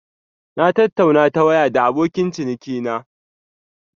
Na tattauna ta waya da abokin cinikina.